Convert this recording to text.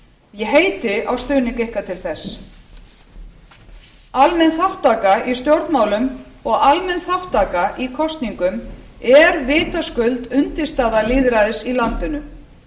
ég heiti á stuðning ykkar til þess almenn þátttaka í stjórnmálum og almenn þátttaka í kosningum er vitaskuld undirstaða lýðræðis í landinu